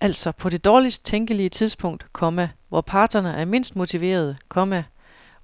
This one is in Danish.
Altså på det dårligst tænkelige tidspunkt, komma hvor parterne er mindst motiverede, komma